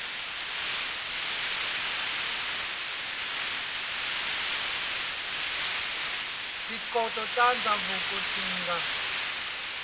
tikhoto ta ndzhavuko ti nga